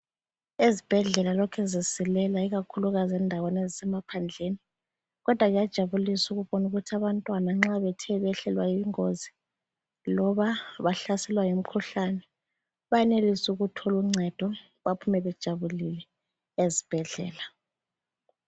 Ezibhedlela lokhe zisilela ikakhukukazi endaweni ezisemaphandleni kodwa kuyajabulisa ukubona ukuthi abantwana nxa bethe behlelwa yingozi loba bahlaselwa yimikhuhlane bayenelisa ukuthola uncedo baphume bejabulile ezibhedlela